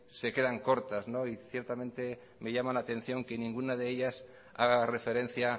se quedan cortas y ciertamente me llama la atención que ninguna de ellas haga referencia